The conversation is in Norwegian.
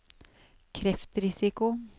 kreftrisiko